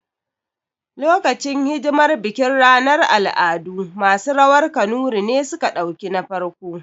Lokacin hidimar bikin ranar al'adu, masu rawar kanuri ne suka ɗauki na farko